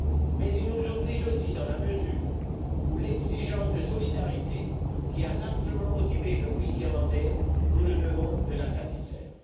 Mais il nous lie aussi dans la mesure où l'exigence de solidarité, qui a largement motivé le oui irlandais, nous nous devons de la satisfaire.